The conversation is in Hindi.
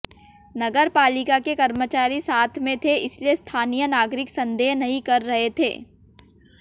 नगर पालिका के कर्मचारी साथ में थे इसलिए स्थानीय नागरिक संदेह नहीं कर रहे थे